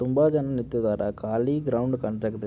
ತುಂಬಾ ಜನ ನಿಂತಿದ್ದಾರೆ ಕಾಲಿ ಗ್ರೌಂಡ್ ಕಾಣ್ಸಾಕ್ ಹತ್ತೈತಿ --